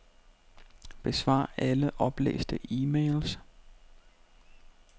Besvar alle oplæste e-mails.